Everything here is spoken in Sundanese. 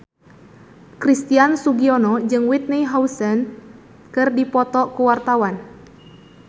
Christian Sugiono jeung Whitney Houston keur dipoto ku wartawan